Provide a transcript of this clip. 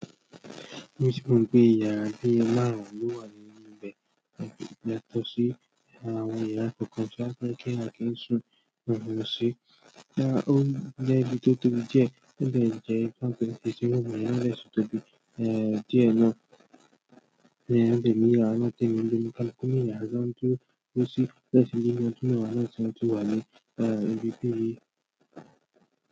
Torí pé ìyàrá bíi márùn ló wà ní ibẹ̀ yàtọ̀ sí àwọn yàrá kọ̀ọ̀kan tó jẹ́ pé kí wọ́n kìí sùn wọ́n ń lọ sí, ó jẹ́ ibi tó tóbi díẹ̀ ó dẹ̀ jẹ́ ibi tó ń pè ní sitting room yẹn náà dẹ̀ sì tóbi díẹ̀ náà, èmi náà dẹ̀ ní yàrá náà tèmi ń gbé, oníkálukú ní yàrá tí wọ́n ń dúró sí.